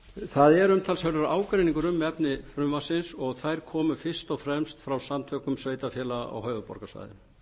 það er umtalsverður ágreiningur um efni frumvarpsins og þær komu fyrst og fremst frá samtökum sveitarfélaga á höfuðborgarsvæðinu